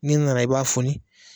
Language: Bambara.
N'i nana i b'a fɔni